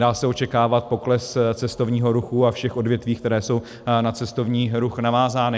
Dá se očekávat pokles cestovního ruchu a všech odvětví, která jsou na cestovní ruch navázána.